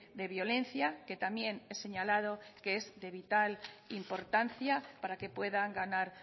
de violencia que también es señalado que es de vital importancia para que puedan ganar